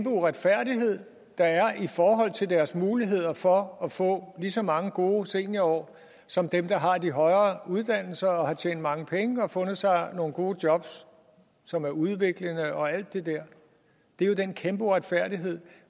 uretfærdighed der er i forhold til deres muligheder for at få lige så mange gode seniorår som dem der har de højere uddannelser og har tjent mange penge og fundet sig nogle gode jobs som er udviklende og alt det der det er jo den kæmpe uretfærdighed